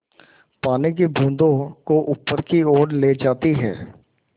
पानी की बूँदों को ऊपर की ओर ले जाती है